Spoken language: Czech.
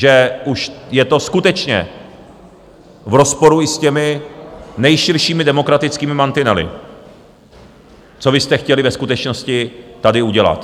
Že už je to skutečně v rozporu i s těmi nejširšími demokratickými mantinely, co vy jste chtěli ve skutečnosti tady udělat.